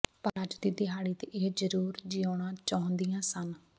ਪਰ ਅੱਜ ਦੀ ਦਿਹਾੜੀ ਤੇ ਇਹ ਜ਼ਰੂਰ ਜਿਊਣਾ ਚਾਹੁੰਦੀਆਂ ਸਨ